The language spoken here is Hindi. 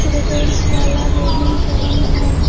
चिल्ड्रेनस वाला गेमिंग जोन है।